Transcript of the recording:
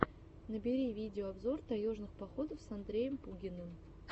набери видеообзор таежных походов с андреем пугиным